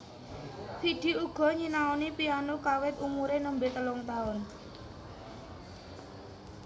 Vidi uga nyinaoni piano kawit umuré nembé telung taun